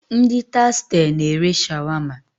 Ndị Tastee na ere Shawama